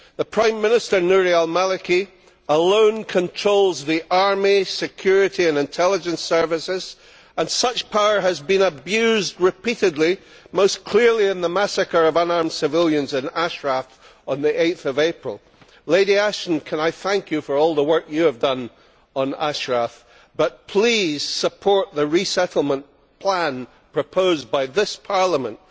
Prime Minister Nouri al Maliki alone controls the army, security and intelligence services, and such power has been abused repeatedly, most clearly in the massacre of unarmed civilians in Ashraf on 8 April. Baroness Ashton, can I thank you for all the work you have done on Ashraf, but please support the resettlement plan proposed by this Parliament.